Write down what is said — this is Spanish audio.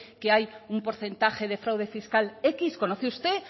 que hay un porcentaje de fraude fiscal equis conoce usted